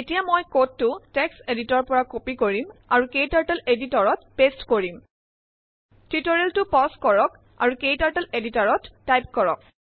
এতিয়া মই কোডটো টেক্সট এডিটৰ পৰা কপি কৰিম আৰু ক্টাৰ্টল এডিটৰত পেস্ট কৰিম টিউটৰিয়েল পজ কৰক আৰু ক্টাৰ্টল এডিটৰত টাইপ কৰক